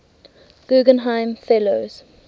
guggenheim fellows